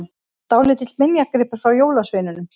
Dálítill minjagripur frá jólasveininum!